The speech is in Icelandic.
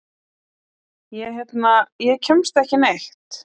Ég hérna. ég kemst ekki neitt.